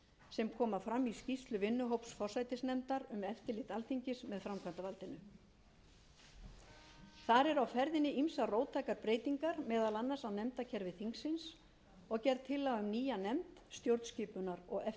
sem koma fram í skýrslu vinnuhóps forsætisnefndar um eftirlit alþingis með framkvæmdarvaldinu þar eru á ferðinni ýmsar róttækar breytingar meðal annars á nefndakerfi þingsins og gerð tillaga um nýja nefnd stjórnskipunar og eftirlitsnefnd það varð niðurstaða forsætisnefndar að þingforseti mundi einn flytja þetta frumvarp enda er